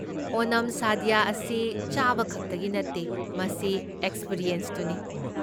ꯑꯣꯅꯝ ꯁꯥꯗ꯭ꯌ ꯑꯁꯤ ꯆꯥꯕ ꯈꯛꯇꯒꯤ ꯅꯠꯇꯦ, ꯃꯁꯤ ꯑꯦꯛꯁꯄꯤꯔꯤꯑꯦꯟꯁꯇꯨꯅꯤ꯫